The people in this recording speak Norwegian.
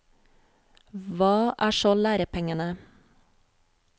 Hva er så lærepengene?